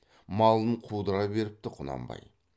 малын қудыра беріпті құнанбай